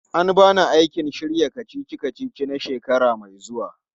An ba ni aikin shirya kacici-kacici na shekara mai zuwa.